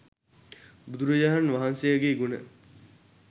බුදුරජාණන් වහන්සේගේ ගුණ